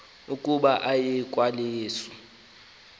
ukuba aye kwalusa